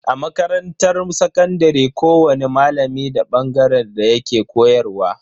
A makarantar sakandare kowani malami da bangaren da yake koyarwa.